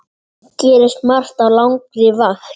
Gerist margt á langri vakt.